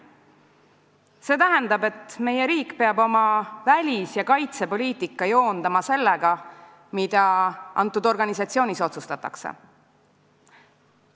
See tähendab, et meie riik peab oma välis- ja kaitsepoliitika joondama sellega, mida antud organisatsioonis otsustatakse.